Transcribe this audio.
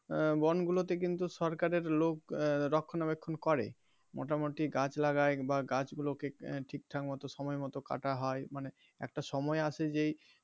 আহ বন গুলোতে কিন্তু সরকারের লোক আহ রক্ষনা বেক্ষন করে মোটামোটি গাছ লাগায় বা গাছ গুলোকে ঠিকঠাক সময় মতো কাটা হয় মানে একটা সময় আছে যে.